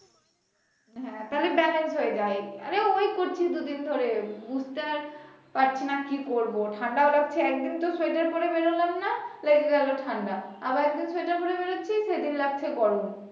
হ্যা তাহলে balance হয়ে যায় আর ওই করছি দুদিন ধরে বুঝ্তেও পারছি না কি করব ঠান্ডাও লাগছে একদিন তো সোয়েটার পরে বের হলাম না লেগে গেলো ঠান্ডা আবার একদিন সোয়েটার পরে বের হচ্ছি সেদিন লাগছে গরম